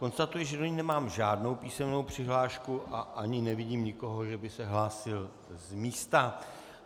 Konstatuji, že do ní nemám žádnou písemnou přihlášku a ani nevidím nikoho, že by se hlásil z místa.